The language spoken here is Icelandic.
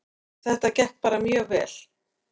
Þetta gekk bara mjög vel